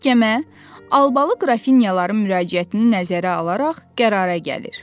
Məhkəmə albalı qrafinyaların müraciətini nəzərə alaraq qərara gəlir.